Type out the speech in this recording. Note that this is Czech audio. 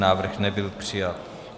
Návrh nebyl přijat.